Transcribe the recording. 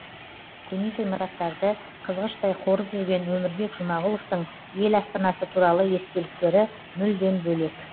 көне ғимараттарды қызғыштай қорып жүрген өмірбек жұмағұловтың ел астанасы туралы естеліктері мүлдем бөлек